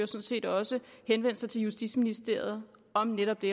set også henvendt sig til justitsministeren om netop det